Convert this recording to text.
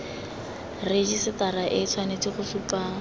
rejisetara e tshwanetse go supa